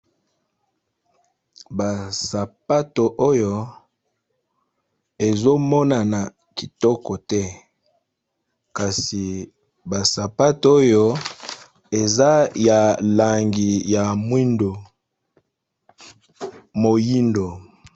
basapato oyo ezomonana kitoko te kasi basapato oyo eza ya langi ya mwindo moyindo